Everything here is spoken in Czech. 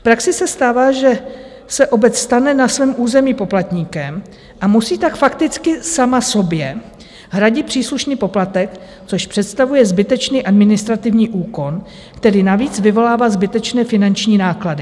V praxi se stává, že se obec stane na svém území poplatníkem, a musí tak fakticky sama sobě hradit příslušný poplatek, což představuje zbytečný administrativní úkon, který navíc vyvolává zbytečné finanční náklady.